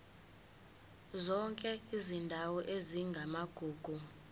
zonke izindawo ezingamagugu